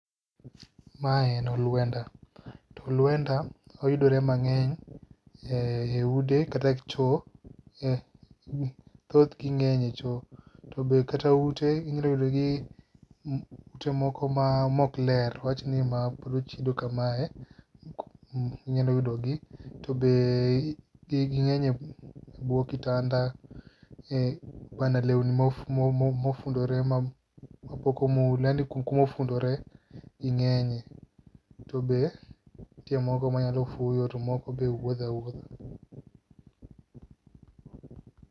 Mae en oluenda to oluenda oyudore mang'eny, e ude kata choo thothgi ng'eny e choo to be kata ute inyalo yudogi to moko ma ok ler awachni ma pod ochido kamae inyalo yudogi to be ging'eny ebwo kitanda kuonde newni mofundore mapok omo yani kuma ofundore ging'eng'ie to be moko nyalo fuyo to moko to wuotho awuotha.